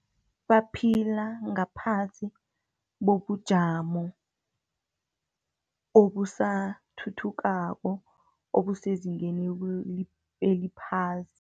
Baphila ngaphasi bobujamo, obusathuthukako, obusezingeni eliphasi.